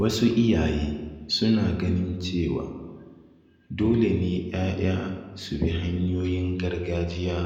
Wasu iyaye suna ganin cewa dole ne ‘ya’ya su bi hanyoyin gargajiya